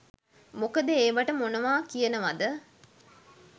මොකද ඒවට මොනවා කියනවද